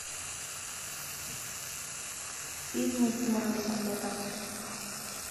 фильмы тимура бекмамбетова